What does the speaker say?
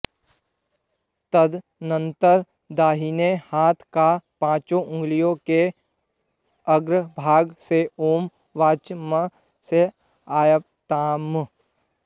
तदनन्तर दाहिने हाथ की पाँचों अँगुलियों के अग्रभाग सेॐवाक्च म ऽआप्यायताम्